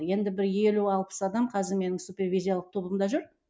енді бір елу алпыс адам қазір менің супервизиялық тобымда жүр